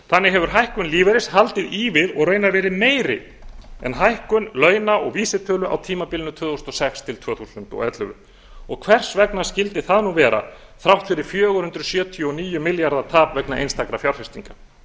þannig hefur hækkun lífeyris haldið í við og raunar verið meiri en hækkun launa og vísitölu á tímabilinu tvö þúsund og sex til tvö þúsund og ellefu og hvers vegna skyldi það nú vera þrátt fyrir fjögur hundruð sjötíu og níu milljarða tap vegna einstakra fjárfestinga